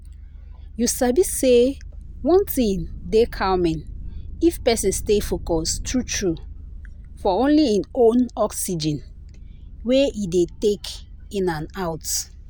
you sabi say one thing dey calming if person stay focus true true for only hin own oxygen wey e dey take in and out.